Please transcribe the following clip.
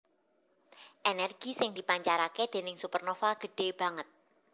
Ènèrgi sing dipancaraké déning supernova gedhé banget